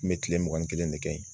N bɛ kile mugan ni kelen de kɛ yen.